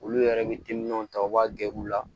Olu yɛrɛ bɛ timinanw ta u b'a gere la